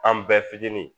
An bɛɛ fitinin